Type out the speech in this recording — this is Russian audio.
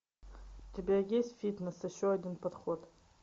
у тебя есть фитнес еще один подход